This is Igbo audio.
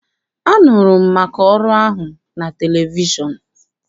Anụrụ m maka ọrụ ahụ na televishọn.